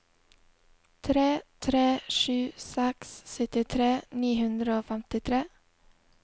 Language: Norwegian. tre tre sju seks syttitre ni hundre og femtitre